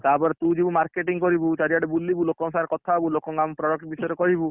ତାପରେ, ତୁ ଯିବୁ marketing କରିବୁ ଚାରିଆଡେ ବୁଲିବୁ ଲୋକଙ୍କ ସାଙ୍ଗେ କଥା ହବୁ ଲୋକଙ୍କୁ, ଆମ product ବିଷୟରେ କହିବୁ।